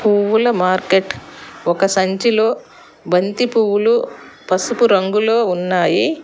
పువ్వుల మార్కెట్ ఒక సంచిలో బంతి పువ్వులు పసుపు రంగులో ఉన్నాయి.